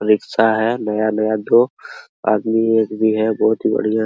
rickshaw है नया-नया जो एक आदमी है बहुत ही बढियाँ--